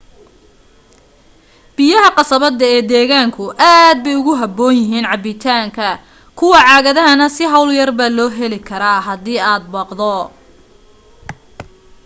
biyaha qasabada ee deegaanku aad bay ugu habboon yihiin cabbitaanka kuwa caagadahana si hawl yarbaa loo heli karaa hadii aad baqdo